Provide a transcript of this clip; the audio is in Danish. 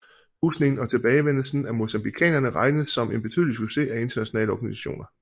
Husningen og tilbagevendelsen af mozambiqanerne regnes som en betydelig succes af internationale organisationer